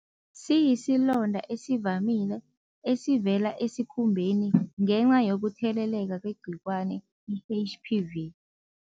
Siyisilonda esivamile, esivela esikhumbeni ngenca yokutheleleka ngegcikwane i-H_P_V.